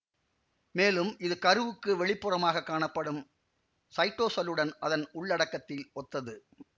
மேலும் இது கருவுக்கு வெளிப்புறமாகக் காணப்படும் சைட்டோசல்லுடன் அதன் உள்ளடக்கத்தில் ஒத்தது